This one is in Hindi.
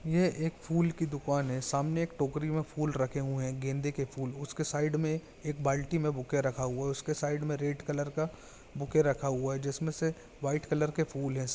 ये एक फूल का दुकान है। सामने एक टोकरी में फूल रखे हुए है। गेंदे के फूल उसके साइड में एक बाल्टी में बुके रखा हुआ है। उसके साइड में रेड कलर का बुके रखा हुआ है। जिसमे से व्हाइट कलर का फूल है।